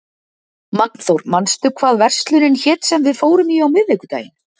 Magnþór, manstu hvað verslunin hét sem við fórum í á miðvikudaginn?